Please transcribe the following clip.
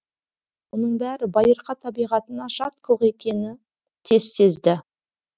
оның бәрі байырқа тәбиғатына жат қылық екенін тез сезді